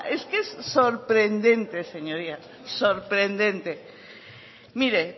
es que es sorprendente señorías sorprendente mire